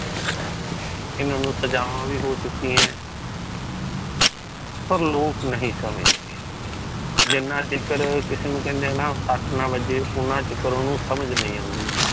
ਇਨ੍ਹਾਂ ਨੂੰ ਸਜ਼ਾਵਾ ਵੀ ਹੋ ਚੁਕਿਆ ਹੈ। ਪਰ ਲੋਕ ਨਹੀਂ ਸਮਜਦੇ। ਜਿਨ੍ਹਾਂ ਚਿਕਰ ਕਿਸੇ ਨੂੰ ਕਹਿੰਦੇ ਨਾ ਸਟ ਨਾ ਵੱਜੇ ਉਨ੍ਹਾਂ ਚਿਕਰ ਓਹਨੂੰ ਸਮਜ਼ ਨਹੀਂ ਆਉਂਦੀ ।